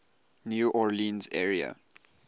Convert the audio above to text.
new orleans area